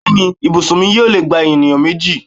Bẹ́ẹ̀ni, ibùsùn mi yóò lè gba ènìyàn méjì